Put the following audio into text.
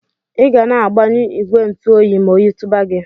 Iga na agbanyu igwe ntu oyi ma oyi tuba gi.